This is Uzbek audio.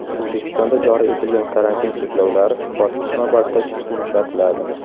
O‘zbekistonda joriy etilgan karantin cheklovlari bosqichma-bosqich yumshatiladi.